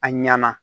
A ɲɛna